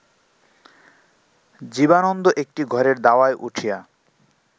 জীবানন্দ একটি ঘরের দাওয়ায় উঠিয়া